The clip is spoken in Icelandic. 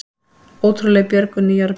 Ótrúleg björgun níu ára pilts